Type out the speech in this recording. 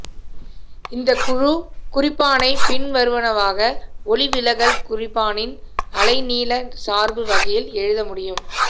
இந்த குழு குறிப்பானை பின்வருவனவாக ஒளிவிலகல் குறிப்பானின் அலைநீள சார்பு வகையில் எழுத முடியும்